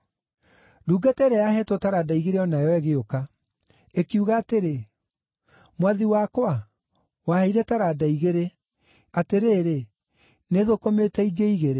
“Ndungata ĩrĩa yaheetwo taranda igĩrĩ o nayo ĩgĩũka. Ĩkiuga atĩrĩ, ‘Mwathi wakwa waheire taranda igĩrĩ! Atĩrĩrĩ, nĩthũkũmĩte ingĩ igĩrĩ.’